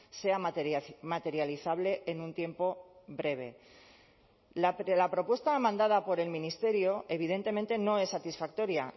sea materializable en un tiempo breve la propuesta mandada por el ministerio evidentemente no es satisfactoria